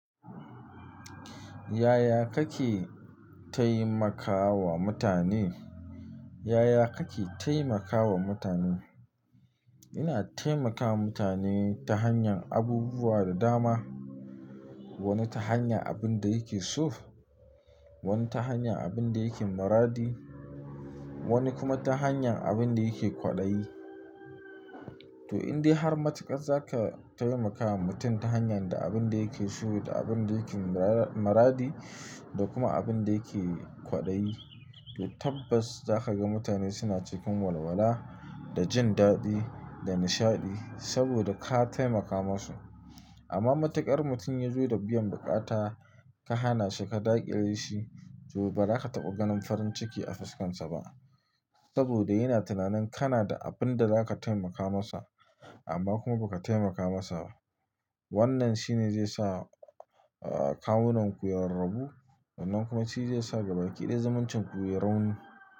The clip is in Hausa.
Yaya kake taimakawa mutane? Yaya kake taimakawa mutane? Ina taimakawa mutane ta hanyar abubuwa da dama. Wani ta hanyar abin da yake so, wani ta hanyar abin da yake maradi, wani kuma ta hanyar abin da yake kwaɗayi. To in dai har matuƙar za ka taimakawa mutum ta hanyar da abin da yake so da abin da yake mara-maradi da kuma abin da yake kwaɗayi, to tabbas za ka ga mutane suna cikin walwala da jin daɗi da nishaɗi saboda ka taimaka musu. Amma matuƙar mutum ya zo da biyan buƙata, ka hana shi ka daƙile shi, to ba za ka taɓa ganin farin ciki a fuskarsa ba saboda yana tunanin kana da abin da za ka taimaka masa amma kuma ba ka taimaka masa ba. Wannan shi ne zai sa, ah, kamunan ku ya rarrubu wannan kuma shi zai sa gaba ƙidayi zumuncin ƙuri'ar.